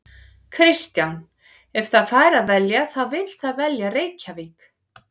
Kristján: Ef það fær að velja þá vill það velja Reykjavík?